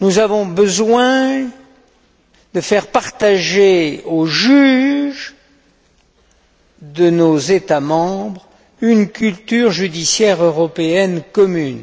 nous avons besoin de faire partager aux juges de nos États membres une culture judiciaire européenne commune.